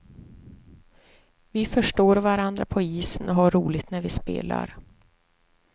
Vi förstår varandra på isen och har roligt när vi spelar.